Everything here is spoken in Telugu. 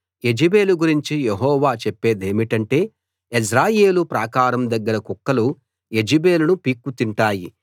యెజెబెలు గురించి యెహోవా చెప్పేదేమిటంటే యెజ్రెయేలు ప్రాకారం దగ్గర కుక్కలు యెజెబెలును పీక్కుతింటాయి